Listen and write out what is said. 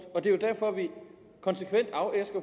det er derfor vi konsekvent afæsker